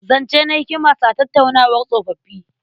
Zance na hikima sa tattaunawar tsofoffi.